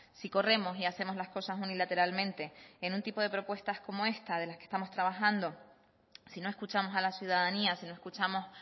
si corremos y hacemos las cosas unilateralmente en un tipo de propuestas como esta en la que estamos trabajando si no escuchamos a la ciudadanía si no escuchamos